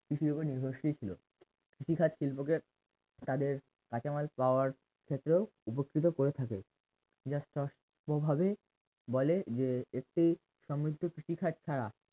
কৃষির ওপর নির্ভিৰশীল ছিল কৃষিকাজ শিল্পকে তাদের কাঁচামাল পাওয়ার ক্ষেত্রেও উপস্থিতও করে থাকে যার স প্রভাবে বলে যে একটি সমৃদ্ধ কৃষিকাজ ছাড়া